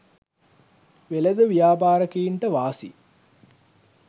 වෙළෙඳ ව්‍යාපාරිකයන්ට වාසි